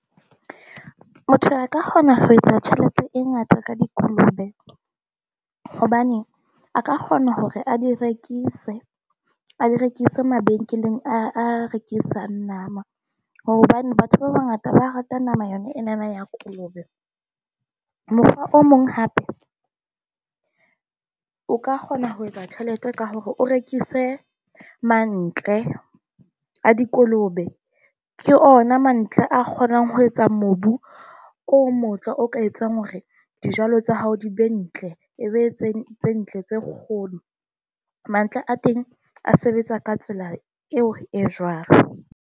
Motho a ka kgona ho etsa tjhelete e ngata ka dikolobe . Hobane a ka kgona hore a di rekise. A di rekise mabenkeleng a rekisang nama, hobane batho ba bangata ba rata nama yona enana ya kolobe. Mofa o mong hape o ka kgona ho etsa tjhelete ka hore o rekise mantle a dikolobe. Ke ona mantle a kgonang ho etsa mobu o motle, o ka etsang hore dijalo tsa hao di be ntle, e be tse ntle tse kgolo. Mantlha a teng a sebetsa ka tsela eo e jwalo.